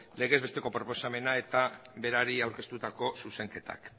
legez besteko proposamena eta berari aurkeztutako zuzenketak